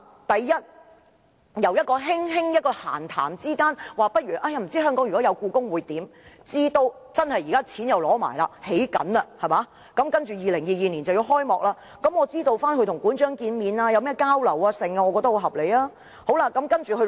第一，由一次閒談中輕輕談到不知道香港有故宮館會怎樣，直至現時取得撥款開始興建，在2022年故宮館便要開幕，我想了解"林鄭"與館長見面和交流的內容，我認為這要求相當合理。